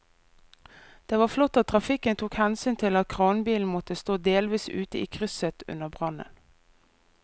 Det var flott at trafikken tok hensyn til at kranbilen måtte stå delvis ute i krysset under brannen.